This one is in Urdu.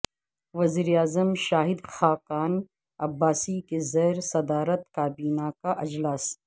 وزیراعظم شاہد خاقان عباسی کی زیر صدارت کابینہ کا اجلاس